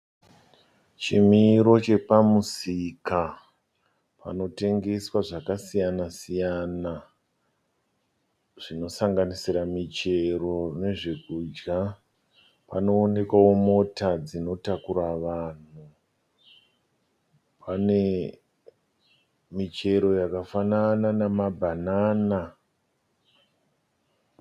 Chimiro chepamusika panotengeswa zvakasiyana siyana zvinosanganira michero nezvekudya. Panoonekwawo mota dzinotakura vanhu. Pane michero yakafanana nemabhanana.